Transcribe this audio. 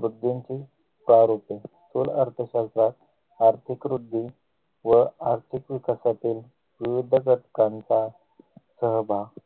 वृद्धींचे तार होते स्थूल अर्थशास्त्रात आर्थिक वृद्धी व आर्थिक विकासातील विविध घटकांचा सहभाग